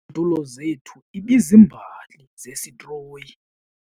Izitulo zethu ibizimbali zesitroyi.